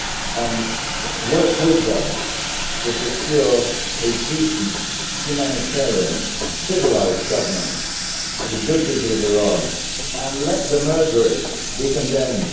and work with them to secure a decent, humanitarian, civilised government for the good people of Iran and let the murderers be condemned.